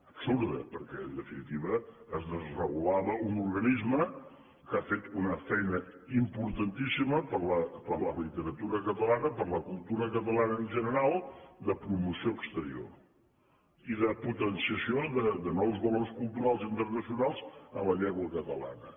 absurda perquè en definitiva es desregulava un organisme que ha fet una feina importantíssima per la literatura catalana per la cultura catalana en general de promoció exterior i de potenciació de nous valors culturals internacionals en la llengua catalana